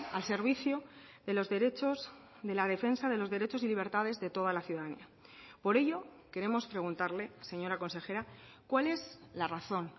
al servicio de los derechos de la defensa de los derechos y libertades de toda la ciudadanía por ello queremos preguntarle señora consejera cuál es la razón